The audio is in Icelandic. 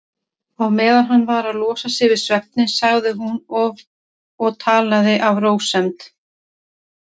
Á meðan hann var að losa sig við svefninn sagði hún og talaði af rósemd